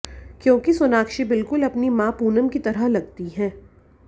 क्योंकि सोनाक्षी बिल्कुल अपनी मां पूनम की तरह लगती हैं